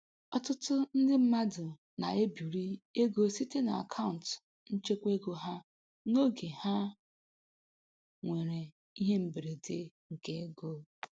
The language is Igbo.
Ọtụtụ ndị mmadụ na-ebiri ego site n'akaụntụ nchekwaego ha n'oge ha nwere ihe mberede nke ego.